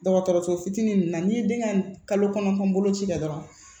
Dɔgɔtɔrɔso fitinin ninnu na n'i ye den ka kalo kɔnɔntɔn boloci kɛ dɔrɔn